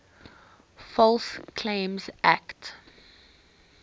false claims act